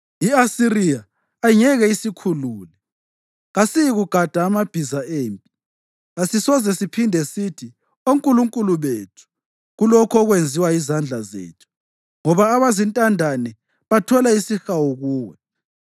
I-Asiriya ayingeke isikhulule; kasiyikugada amabhiza empi. Kasisoze siphinde sithi, ‘Onkulunkulu bethu’ kulokho okwenziwa yizandla zethu, ngoba abazintandane bathola isihawu kuwe.”